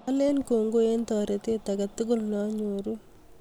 Alen kong'oi eng' taretet agetugul ne anyoruu